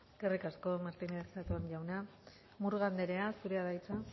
eskerrik asko martínez zatón jauna murga andrea zurea da hitza